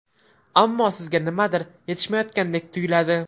Ammo sizga nimadir yetishmayotgandek tuyiladi.